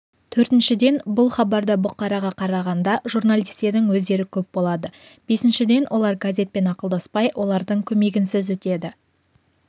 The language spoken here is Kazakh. төртіншіден бұл хабарда бұқараға қарағанда журналистердің өздері көп болады бесіншіден олар газетпен ақылдаспай олардың көмегінсіз өтеді